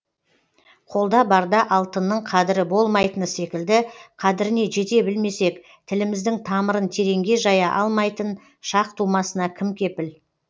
қолда барда алтынның қадірі болмайтыны секілді қадіріне жете білмесек тіліміздің тамырын тереңге жая алмайтын шақ тумасына кім кепіл